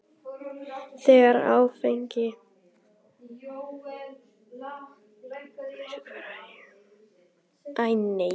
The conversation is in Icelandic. Þegar áfengi brennur losnar orka.